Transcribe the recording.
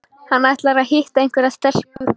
Hann ætlar að hitta einhverja stelpu